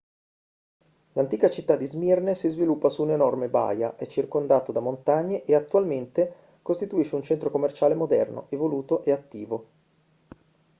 l'antica città di smirne si sviluppa su un'enorme baia è circondato da montagne e attualmente costituisce un centro commerciale moderno evoluto e attivo